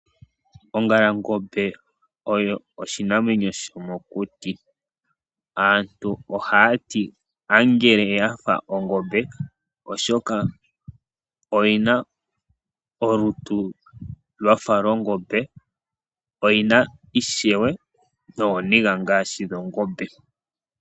Ongalangombe oyo oshinamwemyo shomokuti. Aantu ohaa ti konyala yife ongombe oshoka oyi na olutu lwafa lwongombe, oyi na ishewe nooniga ngaashi dhongombe.